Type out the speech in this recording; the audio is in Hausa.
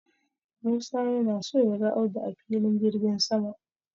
Musa yana so ya ga Audu a Filin jirgin sama.